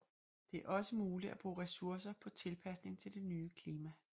Det er også muligt at bruge ressourcer på tilpasning til det nye klima